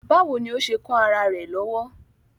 Báwo ni ó ṣe kán ará rẹ̀ lọ́wọ́?